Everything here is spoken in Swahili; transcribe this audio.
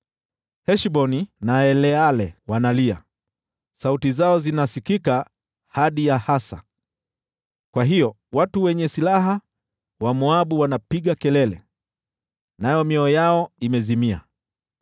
Heshboni na Eleale wanalia, sauti zao zinasikika hadi Yahazi. Kwa hiyo watu wenye silaha wa Moabu wanapiga kelele, nayo mioyo yao imezimia.